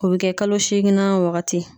O bɛ kɛ kalo seeginnan wagati.